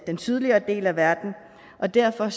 den sydligere del af verden og derfor